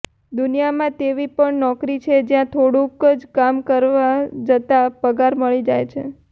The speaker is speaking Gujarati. દુનિયામાં તેવી પણ નોકરી છે જ્યાં થોડુંક જ કામ કરવા જતા પગાર મળી જાય છે